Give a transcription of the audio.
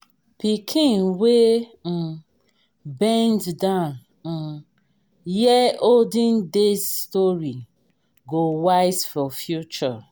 pikin wey um bend down um hear olden days story go wise for future.